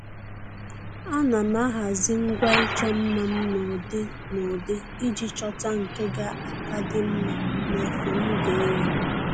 À nà m ahazị ngwa ịchọ mma m n’ụ́dị́ n'ụdị iji chọ́ta nke ga aka dị mma n'efe m ga-eyi